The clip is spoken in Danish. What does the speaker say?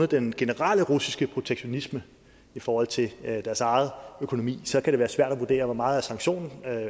den generelle russiske protektionisme i forhold til deres egen økonomi så kan det være svært at vurdere hvor meget sanktioner